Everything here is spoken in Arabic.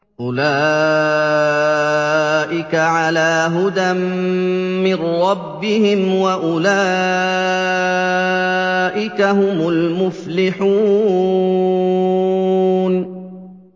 أُولَٰئِكَ عَلَىٰ هُدًى مِّن رَّبِّهِمْ ۖ وَأُولَٰئِكَ هُمُ الْمُفْلِحُونَ